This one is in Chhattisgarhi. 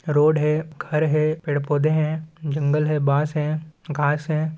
रोड है घर है पेड-़ पौधे है जंगल है बांस है घास हैं।